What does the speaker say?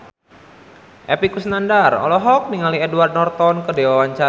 Epy Kusnandar olohok ningali Edward Norton keur diwawancara